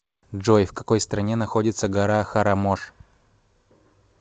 джой в какой стране находится гора харамош